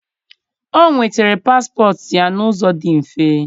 o nwetara paspọtụ ya n'ụzọ dị mfe.